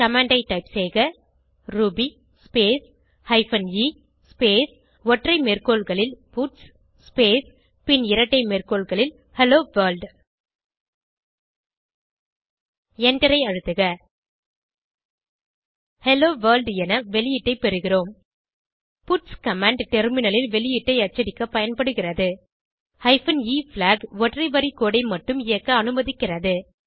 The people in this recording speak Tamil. கமாண்ட் ஐ டைப் செய்க ruby space hyphen a space ஒற்றை மேற்கோள்களில் பட்ஸ் ஸ்பேஸ் பின் இரட்டை மேற்கோள்களில் ஹெல்லோ வர்ல்ட் எண்டரை அழுத்துக ஹெல்லோ வர்ல்ட் என வெளியீட்டை பெறுகிறோம் பட்ஸ் கமாண்ட் டெர்மினலில் வெளியீட்டை அச்சடிக்க பயன்படுகிறது ஹைபன் எ பிளாக் ஒற்றை வரி கோடு ஐ மட்டும் இயக்க அனுமதிக்கிறது